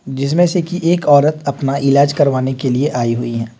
जिसमें से कि एक औरत अपना इलाज करवाने के लिए आई हुई हैं।